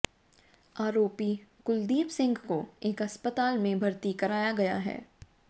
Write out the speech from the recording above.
आरोपी कुलदीप सिंह को एक अस्पताल में भर्ती कराया गया है